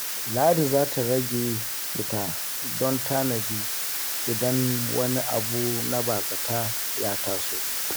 Ladi za ta ƙara rage fita don tanadi idan wani abu na ba-zata ya taso.